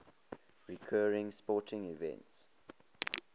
recurring sporting events